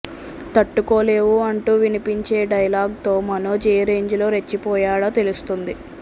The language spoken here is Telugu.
తట్టుకోలేవు అంటూ వినిపించే డైలాగ్ తో మనోజ్ ఏ రేంజ్ లో రెచ్చిపోయాడో తెలుస్తుంది